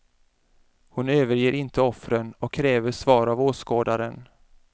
Hon överger inte offren och kräver svar av åskådaren.